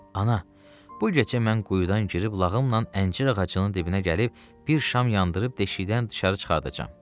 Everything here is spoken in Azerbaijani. Ana, bu gecə mən quyudan girib lağımla əncir ağacının dibinə gəlib bir şam yandırıb deşikdən dışarı çıxardacam.